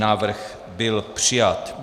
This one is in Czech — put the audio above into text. Návrh byl přijat.